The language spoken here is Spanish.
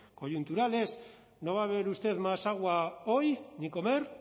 coyuntural es no va a beber usted más agua hoy ni comer